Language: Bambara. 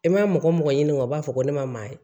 I ma mɔgɔ mɔgɔ ɲini o b'a fɔ ko ne ma maa ye